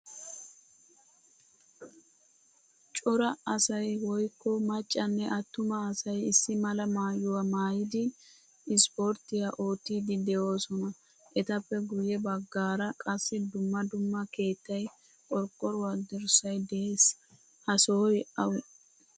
Cora asay woykko maccanne atuma asay issi mala maayuwaa maayidi issporttiyaa oottidii deosona. Etappe guye baggaara qassi dumma dumma keettay, qorqoruwaa dirssay de'ees. Ha sohoy awe?